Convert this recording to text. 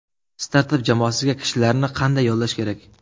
Startap jamoasiga kishilarni qanday yollash kerak?.